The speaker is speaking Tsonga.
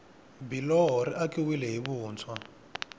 biloho ri akiwile hi vuntshwa